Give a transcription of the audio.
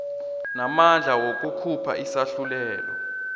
namandla wokukhupha isahlulelo